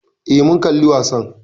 Eh, mun kalli wasan